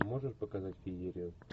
можешь показать феерию